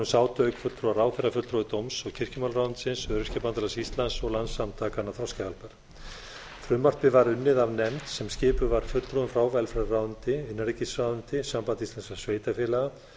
sátu auk fulltrúa ráðherra fulltrúi dóms og kirkjumálaráðuneytisins öryrkjabandalags íslands og landssamtakanna þroskahjálpar frumvarpið var unni af nefnd sem skipuð var fulltrúum frá velferðarráðuneyti innanríkisráðuneyti sambandi íslenskra sveitarfélaga